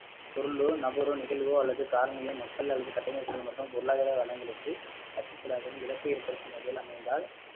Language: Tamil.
சொல்லோ, நபரோ, நிகழ்வோ அல்லது காரணியோ மக்கள் அல்லது கட்டமைப்பு மற்றும் பொருளாதார வளங்களுக்கு அச்சுருத்தலாகவும் இழப்பு ஏற்ப்படுத்தும் வகையில் அமைந்தால்